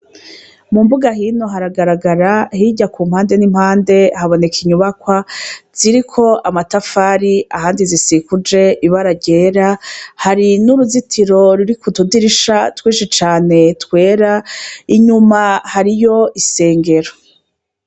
Mumbuga hino haragaragara, hirya kumpande ni mpande haboneka inyubakwa zirik' amatafari, ahandi zisikuj' ibara ryera, hari n'uruzitiro rurik'utudirisha twinshi cane twera, inyuma hariy' isengero.